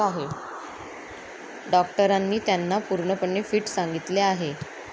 डॉक्टरांनी त्यांना पूर्णपणे फिट सांगितले आहे.